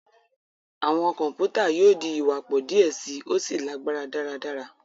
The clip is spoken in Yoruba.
Awọn kọmputa yóò di iwapọ diẹ sii, o sí lagbara daradara.